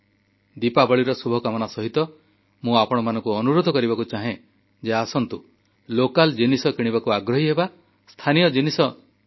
ଦୀପାବଳିର ଶୁଭକାମନା ସହିତ ମୁଁ ଆପଣମାନଙ୍କୁ ଅନୁରୋଧ କରିବାକୁ ଚାହେଁ ଯେ ଆସନ୍ତୁ ସ୍ଥାନୀୟ ଜିନିଷ କିଣିବାକୁ ଆଗ୍ରହୀ ହେବା ସ୍ଥାନୀୟ ଜିନିଷ ହିଁ କିଣିବା